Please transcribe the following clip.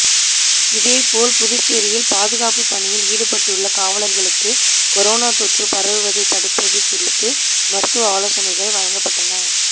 இதேபோல் புதுச்சேரியில் பாதுகாப்புப் பணியில் ஈடுபட்டுள்ள காவலா்களுக்கு கொரோனா தொற்று பரவுவதைத் தடுப்பது குறித்து மருத்துவ ஆலோசனைகள் வழங்கப்பட்டன